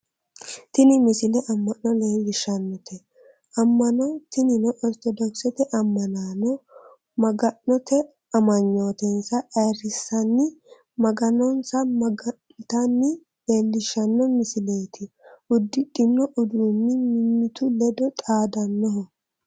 tini misile amma'no leellishshannote amma'no tinino ortodokisete ammanaano maga'note amanyootensa ayyerrissanni maganonsa maga'nitanna leellishshanno misileeti uddidhino uduunnino mimmitu ledo xaadannoho